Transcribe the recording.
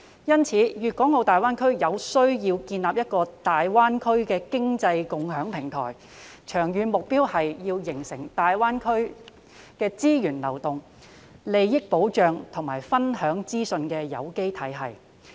因此，大灣區有需要建立一個經濟共享平台，長遠目標是要形成大灣區資源流動、利益保障及資訊分享的有機體系。